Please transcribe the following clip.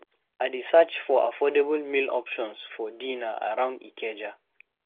I dey search for affordable meal options for dinner around Ikeja.